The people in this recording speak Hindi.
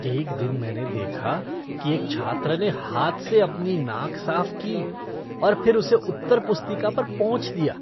एक दिन मैंने देखा कि एक छात्र ने हाथ से अपनी नाक साफ की और फिर उसे उत्तर पुस्तिका पर पोंछ दिया।